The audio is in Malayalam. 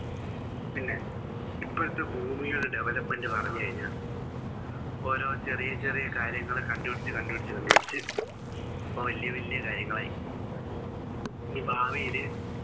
പിന്നെ ഇപ്പോഴത്തെ ഭൂമിയുടെ Development പറഞ്ഞു കഴിഞ്ഞാ ഓരോ ചെറിയ ചെറിയ കാര്യങ്ങൾ കണ്ടുപിടിച്ചു കണ്ടുപിടിച്ചു കണ്ടുപിടിച്ച് ഇപ്പൊ വലിയ വലിയ കാര്യങ്ങളായി ഇനി ഭാവിയിൽ